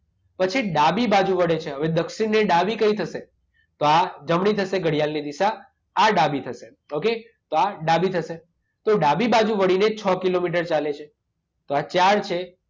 પછી ડાબી બાજુ વળે છે. હવે દક્ષિણ ને ડાબી થશે. તો આ જમણી થશે ઘડિયાળની દિશા, આ ડાબી થશે. ઓકે? તો આ ડાબી થશે. તો ડાબી વળીને છ કિલોમીટર ચાલે છે. તો આ ચાર છે.